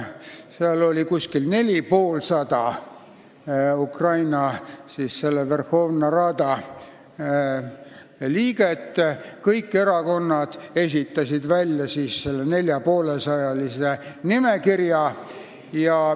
Verhovna Radas oli umbes 450 liiget ja kõik erakonnad esitasid 450 kandidaadiga nimekirja.